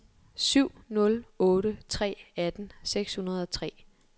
syv nul otte tre atten seks hundrede og tre